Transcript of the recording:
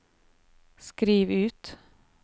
skriv ut